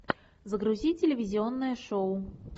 загрузи телевизионное шоу